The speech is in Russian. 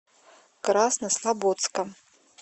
краснослободска